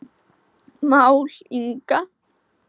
Mál Inga